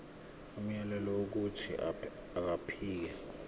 umyalelo wokuthi akhipha